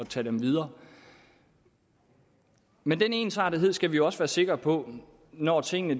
tage dem videre men den ensartethed skal vi jo også være sikre på når tingene